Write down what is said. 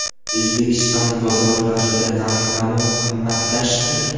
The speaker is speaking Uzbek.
O‘zbekiston bozorlarida narx-navo qimmatlashdimi?.